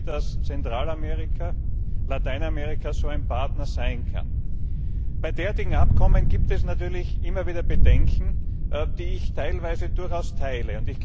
Ich denke, dass Zentralamerika so ein Partner sein kann. Bei derartigen Abkommen gibt es natürlich immer wieder Bedenken, die ich teilweise durchaus teile.